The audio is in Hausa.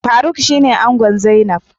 Faruk shine ango zainab.